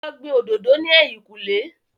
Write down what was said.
Lọ gbin òdòdó ní èyìn kù lé